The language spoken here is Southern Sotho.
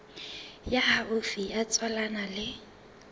ya haufi ya tswalanang le